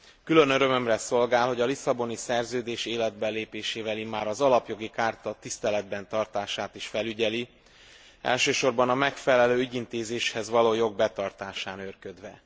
Külön örömömre szolgál, hogy a Lisszaboni Szerződés életbelépésével immár az Alapjogi Charta tiszteletben tartását is felügyeli, elsősorban a megfelelő ügyintézéshez való jog betartásán őrködve.